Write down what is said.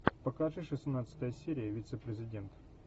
покажи шестнадцатая серия вице президент